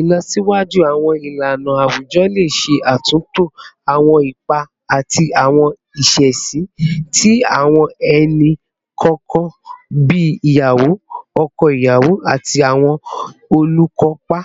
Ilọsiwaju awọn ilana awujọ le ṣe atunto awọn ipa ati awọn iṣesi ti awọn ẹni kọọkan bii iyawo, ọkọ iyawo, ati awọn olukopa,